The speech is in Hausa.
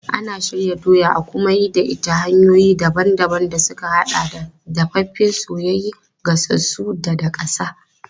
Ana shirya doya a kuma yi da ita ta hanyoyi daban-daban da suka haɗa da dafaffe, soyayye, gasassu ko daƙasa.